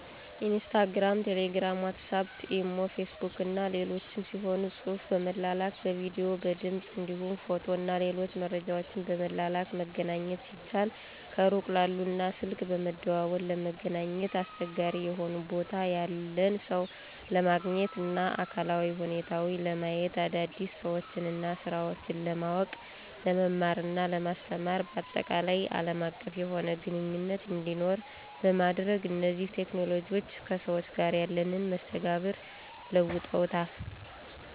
ኢንስታግራም፣ ቴሌግራም፣ ዋትስአፕ፣ ኢሞ፣ ፌስቡክ እና ሌሎችም ሲሆኑ ጽሁፍ በመላላክ፣ በቪዲዮ፣ በድምፅ እንዲሁም ፎቶ እና ሌሎች መረጃወችን በመላላክ መገናኘት ሲችሉ ከሩቅ ላሉ እና ስልክ በመደዋወል ለመገናኘት አስቸጋሪ የሆነ ቦታ ያለን ሰው ለማግኘት እና አካላዊ ሁኔታውን ለማየት፣ አዳዲስ ሰወችንና ስራወችን ለማውቅ፣ ለመማርና ለማስተማር ባጠቃላይ አለም አቀፍ የሆነ ግንኙነት እንዲኖር በማድረግ እነዚህ ቴክኖሎጅዎች ከሰዎች ጋር ያለንን መስተጋብር ለውጠዉታል።